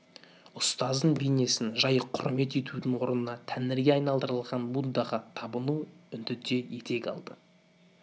ұстаздың бейнесін жай құрмет етудің орнына тәңірге айналдырылған буддаға табыну үндіде етек алды